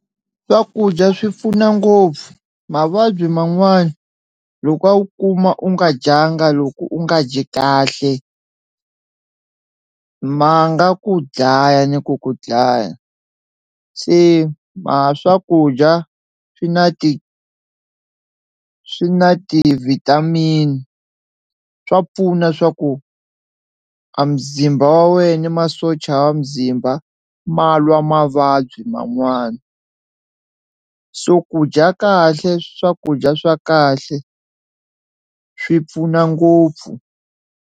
Swakudya swi pfuna ngopfu mavabyi man'wani loko a wu kuma u nga dyanga loko u nga dyi kahle ma nga ku dlaya ni ku ku dlaya, se swakudya swi na ti swi na ti-vitamin swa pfuna swa ku a muzimba wa wehe ni masocha a muzimba ma lwa mavabyi man'wani so ku dya kahle swakudya swa kahle swi pfuna ngopfu.